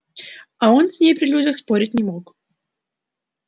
а он с ней при людях спорить не мог